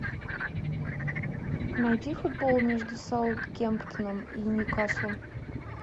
найди футбол между саутгемптоном и ньюкаслом